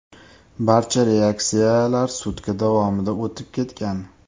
Barcha reaksiyalar sutka davomida o‘tib ketgan.